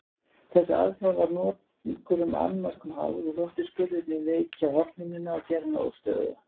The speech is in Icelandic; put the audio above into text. Þessi aðgerð var nokkrum annmörkum háð og þóttu skurðirnir veikja hornhimnuna og gera hana óstöðuga.